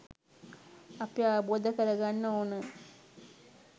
අපි අවබෝධ කරගන්න ඕන.